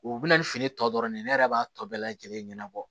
U bɛ na ni fini tɔ dɔrɔn de ye ne yɛrɛ b'a tɔ bɛɛ lajɛlen ɲɛnabɔ